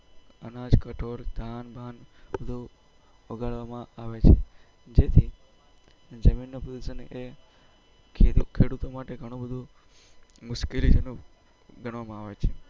અનાજ પેટ્રોલ બગાડ વામ આવે છે જેથી જમીન નો પ્રદુસન એ ખેડૂતો માટે બહુ મુશ્કેલી જનક ગનાવામો આવે છે